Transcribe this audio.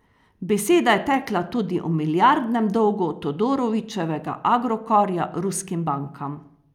Beseda je tekla tudi o milijardnem dolgu Todorićevega Agrokorja ruskim bankam.